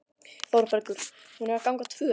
ÞÓRBERGUR: Hún er að ganga tvö!